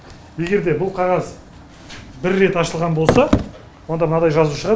егер де бұл қағаз бір рет ашылған болса онда мынадай жазу шығады